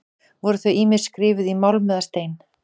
Voru þau ýmist skrifuð í málm eða stein.